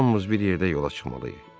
Hamımız bir yerdə yola çıxmalıyıq.